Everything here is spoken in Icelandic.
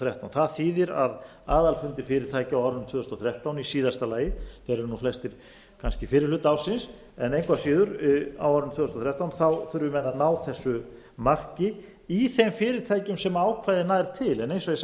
þrettán það þýðir að aðalfundir fyrirtækja á árinu tvö þúsund og þrettán í síðasta lagi þeir eru flestir kannski fyrri hluta ársins en engu að síður á árinu tvö þúsund og þrettán þurfum við að ná þessu marki í þeim fyrirtækjum sem ákvæðið nær til en eins og ég sagði